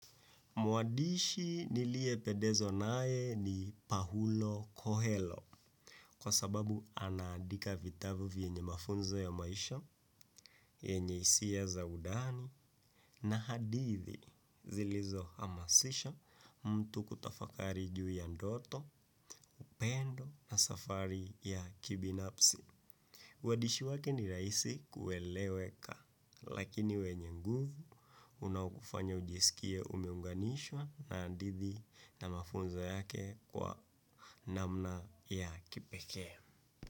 Mwandishi niliyepedezwa naye ni Paulo Kohelo kwa sababu anaadika vitabu vyenye mafunzo ya maisha, yenye hisia za undani na hadithi zilizo hamasisha mtu kutafakari juu ya ndoto, upendo na safari ya kibinafsi. Uandishi wake ni rahisi kueleweka, lakini wenye nguvu unaokufanya ujisikie umeunganishwa na hadithi na mafunzo yake kwa namna ya kipekee.